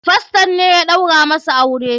Faston ne ya ɗaura musu aure.